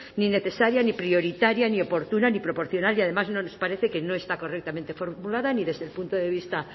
ni necesaria ni prioritaria ni oportuna ni proporcional y además no nos parece que no está correctamente formulada ni desde el punto de vista